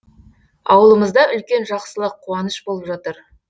ауылымызда үлкен жақсылық қуаныш болып жатыр